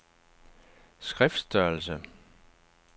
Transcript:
skriftstørrelse